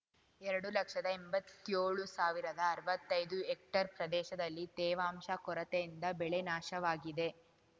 ಎರಡು ಲಕ್ಷದಎಂಬತ್ತೇಳು ಸಾವಿರದಅರ್ವತ್ತೈದು ಹೆಕ್ಟೇರ್‌ ಪ್ರದೇಶದಲ್ಲಿ ತೇವಾಂಶ ಕೊರತೆಯಿಂದ ಬೆಳೆ ನಾಶವಾಗಿದೆ